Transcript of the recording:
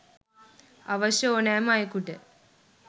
අවශ්‍ය ඕනෑම අයෙකුට